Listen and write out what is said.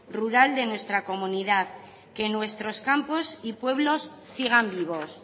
rural de nuestra comunidad que nuestros campos y pueblos sigan vivos